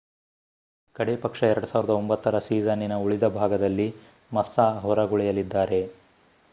ಕಡೇಪಕ್ಷ 2009 ರ ಸೀಸನ್ನಿನ ಉಳಿದ ಭಾಗದಲ್ಲಿ ಮಸ್ಸಾ ಹೊರಗುಳಿಯಲಿದ್ದಾರೆ